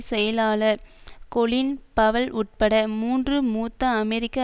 செயலாளர் Colin Powell உட்பட மூன்று மூத்த அமெரிக்க